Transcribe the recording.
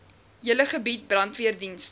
hele gebied brandweerdienste